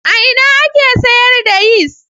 A ina ake siyar da yis?